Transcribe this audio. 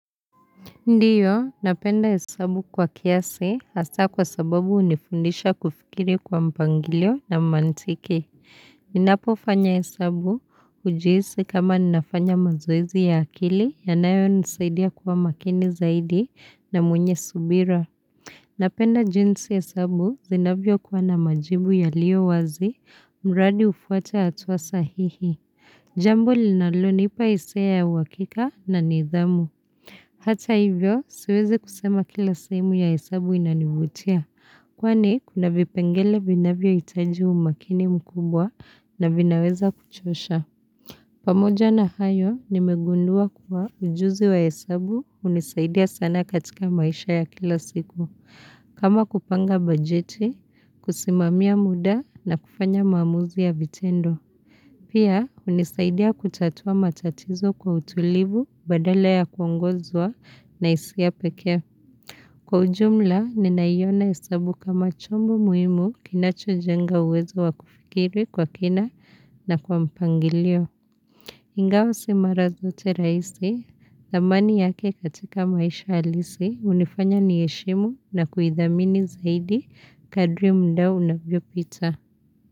Ndiyo, napenda hesabu kwa kiasi hasa kwa sababu unifundisha kufikiri kwa mpangilio na mantiki. Ninapo fanya hesabu hujiisi kama ninafanya mazoezi ya akili yanayo nisaidia kuwa makini zaidi na mwenye subira. Napenda jinsi hesabu zinavyokuwa na majibu yaliyo wazi, mradi ufuate atua sahihi. Jambo linalonipa hisia ya uwakika na nidhamu. Hata hivyo, siweze kusema kila sahemu ya hesabu inanivutia, kwani kuna vipengele vinavyo hitaji umakini mkubwa na vinaweza kuchosha. Pamoja na hayo, nimegundua kuwa ujuzi wa hesabu hunisaidia sana katika maisha ya kila siku, kama kupanga bajeti, kusimamia muda na kufanya maamuzi ya vitendo. Pia, hunisaidia kutatua matatizo kwa utulivu badala ya kuongozwa na hisia pekee. Kwa ujumla, ninaiona hesabu kama chombo muhimu kinacho jenga uwezo wa kufikiri kwa kina na kwa mpangilio. Ingawa si mara zote rahisi, thamani yake katika maisha alisi, hunifanya niheshimu na kuidhamini zaidi Kadri mda unavyopita.